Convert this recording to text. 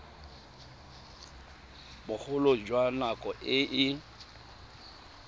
bogolo jwa nako e e